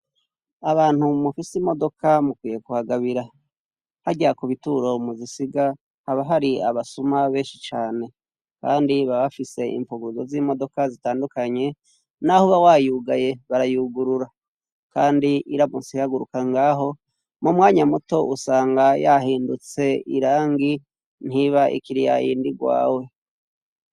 Abantu mufise imodoka mukwiye kuhagabira, harya ku bituro muzisiga haba hari abasuma benshi cane kandi baba bafise impfuguruzo z'imodoka zitandukanye, n'aho uba wayugaye barayugurura kandi iramutse ihaguruka ngaho, mu mwanya muto usanga yahindutse irangi, ntiba ikiri yayindi rwawe.